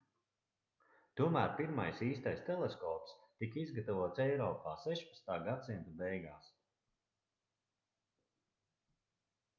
tomēr pirmais īstais teleskops tika izgatavots eiropā 16. gadsimta beigās